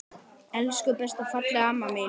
Elsku besta fallega amma mín.